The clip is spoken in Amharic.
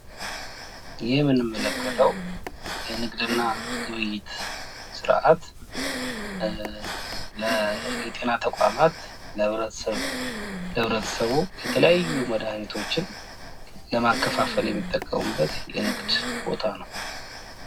ይህ የምንመለከተዉ የንግድና ግብይት ስርአት ለጤና አገልግሎት ተቋማት ለህብረተሰቡ የተለያዩ መድሀኒቶችን ለማከፋፈል የሚጠቀሙብት የንግድ ቦታ ነው ።